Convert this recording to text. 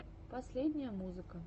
последние музыка